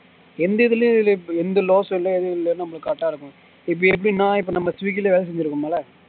எந்த இதிலியும் இல்ல எந்த loss இல்ல ஏதும் இல்ல நம்மளுக்கு correct இருக்கும் இப்ப எப்டின்னா இப்போ நம்ம ஸ்விக்கில வேலை செஞ்சுருக்கோம்ல